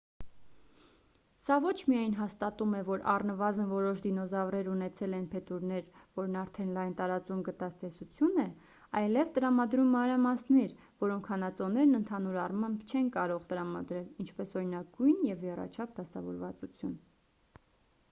սա ոչ միայն հաստատում է որ առնվազն որոշ դինոզավրեր ունեցել են փետուրներ որն արդեն լայն տարածում գտած տեսություն է այլև տրամադրում մանրամասներ որոնք հանածոներն ընդհանուր առմամբ չեն կարող տրամադրել ինչպես օրինակ գույն և եռաչափ դասավորվածություն